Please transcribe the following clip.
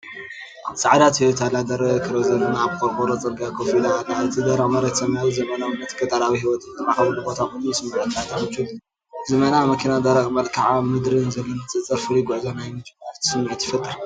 ጻዕዳ ቶዮታ ላንድ ክሩዘር ኣብ ቆርቆሮ ጽርግያ ኮፍ ኢላ ኣላ። እቲ ደረቕ መሬትን ሰማያዊ፣ ዘመናዊነትን ገጠራዊ ህይወትን ዝራኸበሉ ቦታ ኮይኑ ይስምዓካ። እታ ምቾት ዝመልኣ መኪናን ደረቕ መልክዓ ምድርን ዘሎ ንጽጽር ፍሉይ ጉዕዞ ናይ ምጅማር ስምዒት ይፈጥር።